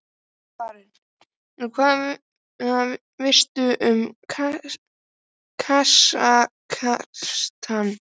Karen: En hvað veistu um Kasakstan?